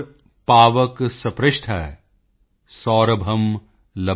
ਪਾਵਕ ਸਪ੍ਰਿਸ਼ਟ ਸੌਰਭੰ ਲਭਤੇਤਰਾਮ